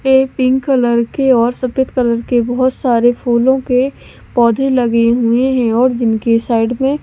फिर pink colour के और सफेद कलर के बहुत सारे फूलों के पौधे लगे हुए हैं और जिनके साइड में--